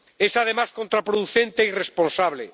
Es, además, contraproducente e irresponsable.